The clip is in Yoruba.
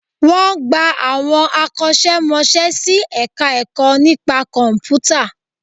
Wọ́n gba àwọn akọ́ṣẹ́ mọṣẹ́ sí Ẹ̀ka-ẹ̀kọ́ nípa Kọ̀m̀pútà